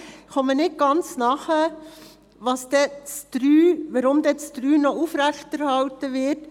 Ich verstehe nicht genau, weshalb der Punkt 3 noch aufrechterhalten wird.